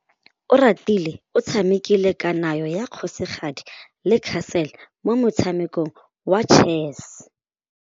Oratile o tshamekile kananyô ya kgosigadi le khasêlê mo motshamekong wa chess.